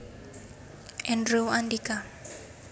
Andrew Andika